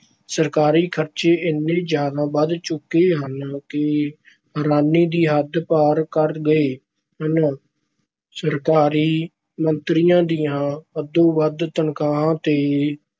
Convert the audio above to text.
ਸਰਕਾਰੀ ਖ਼ਰਚੇ ਇੰਨੇ ਜ਼ਿਆਦਾ ਵਧ ਚੁੱਕੇ ਹਨ ਕਿ ਹੈਰਾਨੀ ਦੀ ਹੱਦ ਪਾਰ ਕਰ ਗਏ ਹਨ। ਸਰਕਾਰੀ ਮੰਤਰੀਆਂ ਦੀਆਂ ਹੱਦੋਂ-ਵੱਧ ਤਨਖ਼ਾਹਾਂ ਤੇ